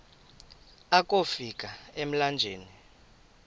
akofi ka emlanjeni